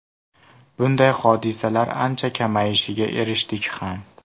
Bunday hodisalar ancha kamayishiga erishdik ham.